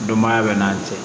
Dɔnbaya bɛ n'an cɛ